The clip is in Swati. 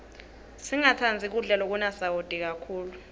singatsandzi kudla lokunasawati kakhulu